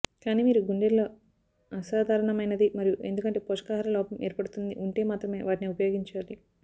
కానీ మీరు గుండెల్లో అసాధారణమైనది మరియు ఎందుకంటే పోషకాహారలోపం ఏర్పడుతుంది ఉంటే మాత్రమే వాటిని ఉపయోగించాలి